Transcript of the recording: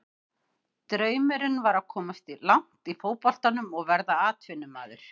Draumurinn var að komast langt í fótboltanum og verða atvinnumaður.